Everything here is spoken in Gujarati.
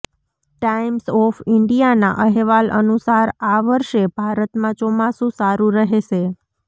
ટાઇમ્સ ઓફ ઇન્ડિયાના અહેવાલ અનુસાર આ વર્ષે ભારતમાં ચોમાસું સારું રહેશે